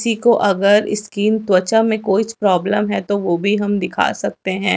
किसी को अगर स्किन त्वचा में कोईछ प्रॉब्लम है तो वो भी हम दिखा सकते हैं।